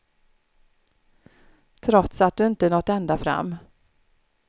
Trots att du inte nått ända fram.